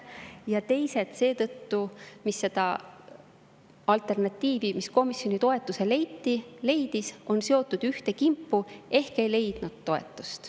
Ja teised seetõttu on seotud ühte kimpu ehk ei leidnud toetust.